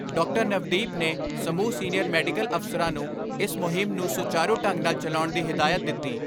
ਨਵਦੀਪ ਨੇ ਸਮੂਹ senior medical ਅਫ਼ਸਰਾਂ ਨੂੰ ਇਸ ਮੁਹਿੰਮ ਨੂੰ ਸੁਚਾਰੂ ਢੰਗ ਨਾਲ ਚਲਾਉਣ ਦੀ ਹਦਾਇਤ ਦਿੱਤੀ।